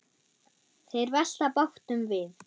Þeir velta bátnum við.